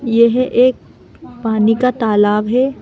यह एक पानी का तालाब है।